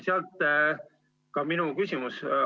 Sealt ka minu küsimus.